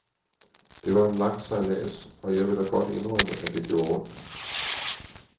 Det var en lang sejlads, og jeg vil da godt indrømme, at det gjorde ondt.